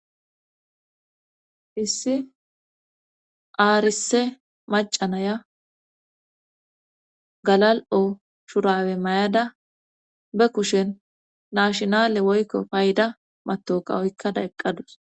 Issi aarise macanaya galal'o shurawe mayada be kushen naashinale woykko payida matoka oykkada eqqadus.